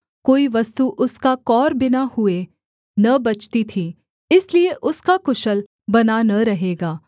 कोई वस्तु उसका कौर बिना हुए न बचती थी इसलिए उसका कुशल बना न रहेगा